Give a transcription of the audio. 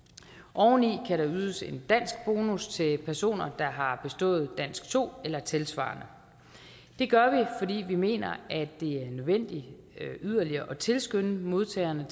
og oven i det kan der ydes en danskbonus til personer der har bestået dansk to eller tilsvarende det gør vi fordi vi mener at det er nødvendigt yderligere at tilskynde modtagerne